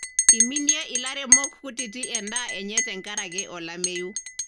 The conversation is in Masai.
iminie ilairemok kutiti endaa enye tengaraki olameyu.